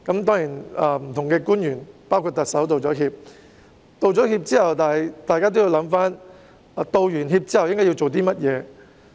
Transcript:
當然，不同的官員——包括特首——已經道歉，但在道歉後，大家都要想一想，之後應該做甚麼？